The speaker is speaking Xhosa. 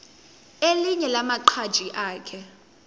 elinye lamaqhaji akhe